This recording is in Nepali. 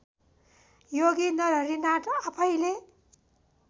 योगी नरहरिनाथ आफैँले